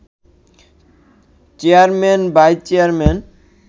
chairman, vice chairman